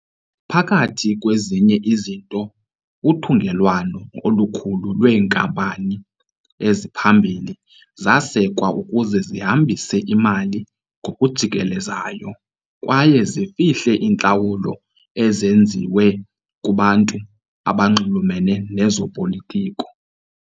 Phakathi kwezinye izinto, uthungelwano olukhulu lweenkampani eziphambili zasekwa ukuze zihambise imali ngokujikelezayo kwaye zifihle iintlawulo ezenziwe kubantu abanxulumene nezopolitiko.